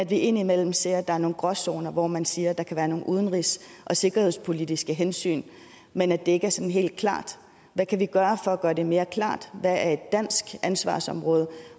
vi indimellem ser at der er nogle gråzoner hvor man siger at der kan være nogle udenrigs og sikkerhedspolitiske hensyn men at det ikke er helt klart hvad kan vi gøre for at gøre det mere klart hvad er et dansk ansvarsområde